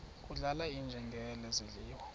kudlala iinjengele zidliwa